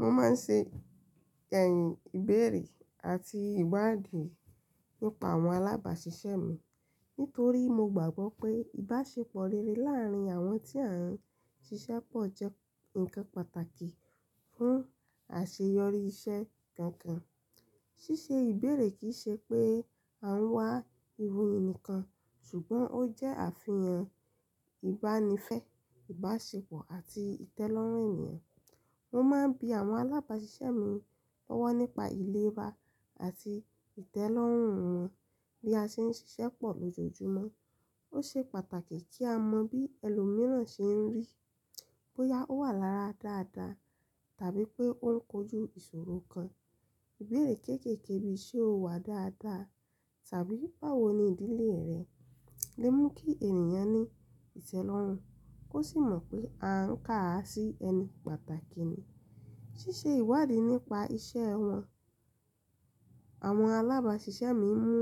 Mo máa ń ṣe ẹ̀yìn ìbéèrè àti ìwádìí nípa àwọn alábàáṣiṣẹ́ mi. Nítorí mo gbàgbọ́ pé ìbáṣepọ̀ rere láàárín àwọn tí a ń ṣiṣẹ́ pọ̀ jẹ́ ǹkan pàtàkì fún àṣeyọrí iṣẹ́ gangan. Ṣíṣe ìbéèrè kì í ṣe pé à ń wá iwo ìní kan, ṣùgbọ́n ó jẹ́ àfihàn ìbánifẹ́, ìbáṣepọ̀ àti ìtẹ́lọ́rùn ènìyàn. Mo máa ń bi àwọn alábáṣiṣẹ́ mi lọ́wọ́ nípa ìlera àti ìtẹ́lọ́rùn wọn bí a ṣe ń ṣiṣẹ́ pọ̀ lójoojúmọ́. Ó ṣe pàtàkì kí a mọ bí ẹlòmíràn ṣe ń rí, bóyá ó wà lára dáadáa tàbí pé ó ń kojú ìṣòro kan. Ìbéèrè kéékèèké bí "Ṣé o wà dáadáa?" tàbí "Báwo ni ìdílé rẹ?" lè mú kí ènìyàn ní ìtẹ́lọ́rùn kó sì mọ̀ pé à ń kà á sí ẹnì pàtàkì ni. Ṣíṣe ìwádìí nípa ìṣe wọn, àwọn alábáṣiṣẹ́ mi mú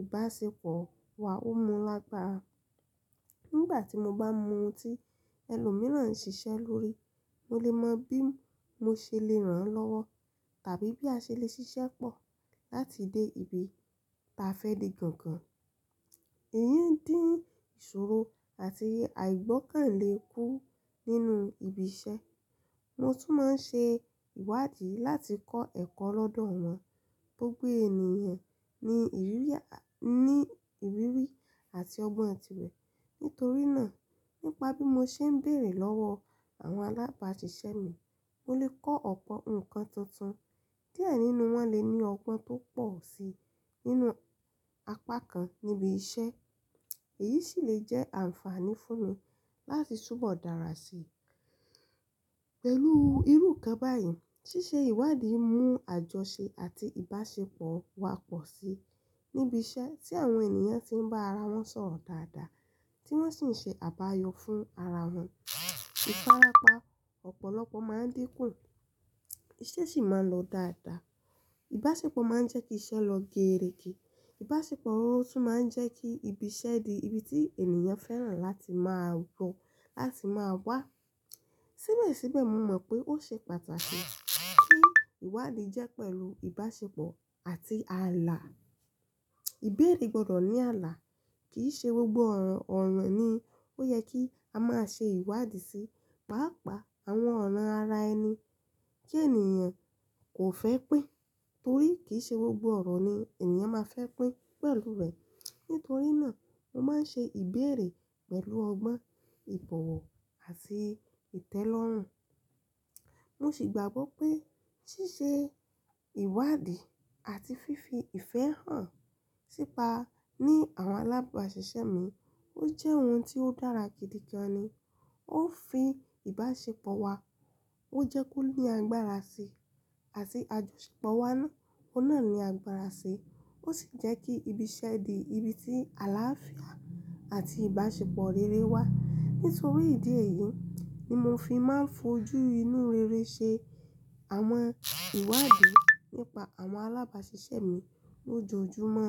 ìbáṣepọ̀ wa mú lágbára. Nígbà tí mo bá mọ ohun tí ẹlòmíràn ń ṣiṣẹ́ lórí, mo lè mọ bí mo ṣe lè ràn án lọ́wọ́ tàbí bí a ṣe lè ṣiṣẹ́ pọ̀ láti dé ibi tí a fẹ́ dé gangan. Èyí ń dín ìṣòro àti àìgbọ́kàn le kú nínú ibi iṣẹ́. Mo tún máa ń ṣe ìwádìí láti kọ́ ẹ̀kọ́ lọ́dọ̀ wọn. Gbogbo ènìyàn ní ìrírí àti ọgbọ́n ti rẹ̀. Nítorí náà, nípa bí mo ṣe ń béèrè lọ́wọ́ àwọn alábáṣiṣẹ́ mi, mo lè kọ́ ọ̀pọ̀ nǹkan tuntun díẹ nínú wọn le ní ọgbọ́n tó pọ̀ sí nínú apá kan níbi iṣẹ́. Èyí sì lè jẹ́ àǹfààní fún mi láti túbọ̀ dára sí i. Pẹ̀lú irú kan báyìí, ṣíṣe ìwádìí mú àjọṣe àti ìbáṣepọ̀ wá pọ̀ sí i níbi iṣẹ́ tí àwọn ènìyàn ti ń bá ara wọn sọ̀rọ̀ dáadáa tí wọ́n sì ń ṣe àbáyọ fún ara wọn ìfárapa ọ̀pọ̀lọpọ̀ máa ń dín kù, ìṣe sì máa ń lọ dáadáa. Ìbáṣepọ̀ máa ń jẹ́ kí iṣẹ́ lọ géèrège. Ìbáṣepọ̀ ohun tún máa ń jẹ́ kí ibi iṣẹ́ di ibi tí ènìyàn fẹ́ràn láti máa wlọ láti máa wá. Síbẹ̀síbẹ̀, mo mọ̀ pé ó ṣe pàtàkì kí ìwádìí jẹ́ pẹ̀lú ìbáṣepọ̀ àti àlà. Ìbéèrè gbọdọ̀ ní àlà. Kì í ṣe gbogbo ọ̀ro ọ̀ro ni ó yẹ kí a máa ṣe ìwádìí sí, pàápàá àwọn ọ̀ro ara ẹni kí ènìyàn kò fẹ́ pín torí kì í ṣe gbogbo ọ̀rọ̀ ni ènìyàn máa fẹ́ pín pẹ̀lú rẹ̀. Nítorí náà, mo máa ń ṣe ìbéèrè pẹ̀lú ọgbọ́n, ìbọ̀wọ̀ àti ìtẹ́lọ́rùn. Mo sì gbàgbọ́ pé ṣíṣe ìwádìí àti fífi ìfẹ́ hàn sípa ní àwọn alábáṣiṣẹ́ mi ó jẹ́ ohun tí ó dára gidi gan ni. Ó ń fi ìbáṣepọ̀ wa, ó jẹ́ kó ní agbára sí i àti àjọṣepọ̀ wa náà ó náà ni agbára sí i. Ó sì jẹ́ kí ibi iṣẹ́ di ibi tí àlàáfíà àti ìbáṣepọ̀ rere wà. Nítorí ìdí èyí ni mo fi máa ń fojú inú rere ṣe àwọn ìwádìí nípa àwọn alábáṣiṣẹ́ mi lójoojúmọ́.